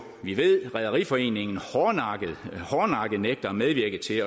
at rederiforeningen hårdnakket nægter at medvirke til